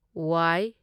ꯋꯥꯢ